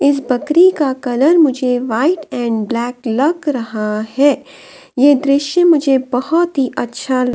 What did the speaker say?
इस बकरी का कलर मुझे वाइट एंड ब्लैक लग रहा है यह दृश्य मुझे बहुत ही अच्छा ल --